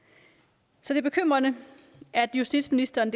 så det er bekymrende at justitsministeren